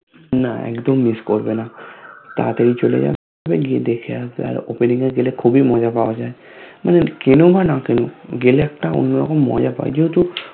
না একদম Miss করবেনা তাড়াতাড়ি চলে যাবে গিয়ে দেখে আসবে আর Opening এ গেলে খুবই মজা পাওয়া যায় মানে কেনো বা না কেনো গেলে একটা অন্য রকম মজা পায় যেহেতু